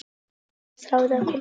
Hún þráði að komast burt.